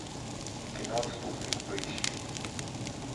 кино отступник поищи